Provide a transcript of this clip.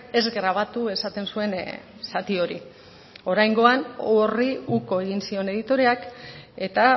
ez grabatu esaten zuen zati hori oraingoan horri uko egin zion editoreak eta